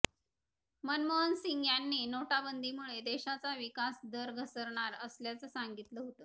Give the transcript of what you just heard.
मनमोहन सिंग यांनी नोटाबंदीमुळे देशाचा विकास दर घसरणार असल्याचं सांगितलं होतं